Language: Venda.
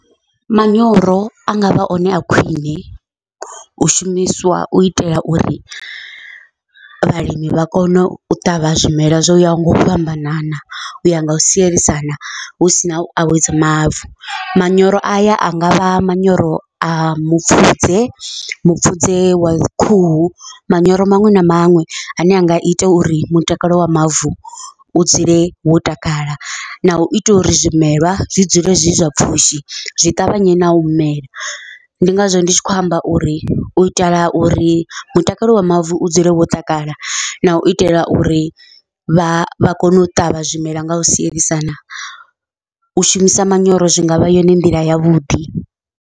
Manyoro a ngavha one a khwiṋe u shumiswa u itela uri vhalimi vha kone u ṱavha zwimela zwo yaho ngau fhambanana uya ngau sielisana husina u awedza mavu, manyoro aya a ngavha manyoro a mupfhudze mupfudze wa khuhu manyoro maṅwe na maṅwe ane anga ita uri mutakalo wa mavu u dzule wo takala, nau itela uri zwimelwa zwi dzule zwi zwa pfhushi zwi ṱavhanye nau mela. Ndi ngazwo ndi tshi khou amba uri u itela uri mutakalo wa mavu u dzule wo takala nau itela uri vha kone u ṱavha zwimela ngau sielisana, u shumisa manyoro zwi ngavha yone nḓila yavhuḓi.